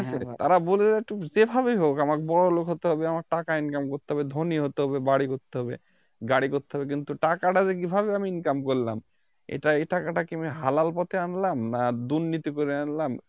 তারা বোঝে যে একটু যেভাবেই হোক আমাকে বড়লোক হতে হবে আমার টাকা Income করতে হবে ধনী হতে হবে বাড়ি করতে হবে গাড়ি করতে হবে কিন্তু টাকাটা যে আমি কিভাবে Income করলাম এটা~ এই টাকাটা কি আমি হালাল পথে আনলাম না দুর্নীতি করে আনলাম